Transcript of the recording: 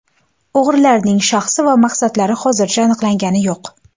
O‘g‘rilarning shaxsi va maqsadlari hozicha aniqlangani yo‘q.